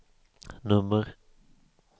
nummer